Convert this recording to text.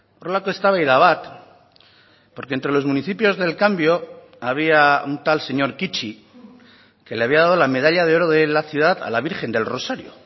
horrelako eztabaida bat porque entre los municipios del cambio había un tal señor kichi que le había dado la medalla de oro de la ciudad a la virgen del rosario